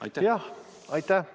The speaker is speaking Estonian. Aitäh!